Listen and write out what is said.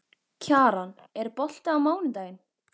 Kjaran, er bolti á mánudaginn?